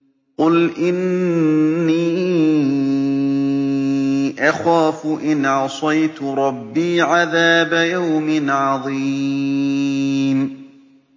قُلْ إِنِّي أَخَافُ إِنْ عَصَيْتُ رَبِّي عَذَابَ يَوْمٍ عَظِيمٍ